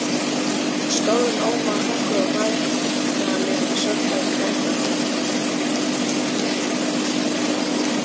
Skálinn ómaði af þungum og værðarlegum svefnhljóðum karlanna.